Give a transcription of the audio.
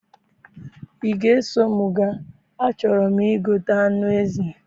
I ga eso mụ ga? A chọrọ mụ igote anụ ezi